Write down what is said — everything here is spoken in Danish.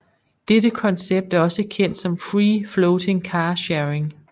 Dette koncept er også kendt som free floating car sharing